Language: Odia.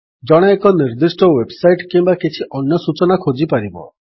ଜଣେ ଏକ ନିର୍ଦ୍ଦିଷ୍ଟ ୱେବ୍ ସାଇଟ୍ କିମ୍ୱା କିଛି ଅନ୍ୟ ସୂଚନା ଖୋଜିପାରିବ